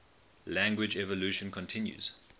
language evolution continues